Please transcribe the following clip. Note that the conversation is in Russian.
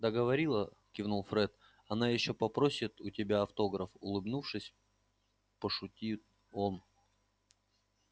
да говорила кивнул фред она ещё попросит у тебя автограф улыбнувшись пошутил он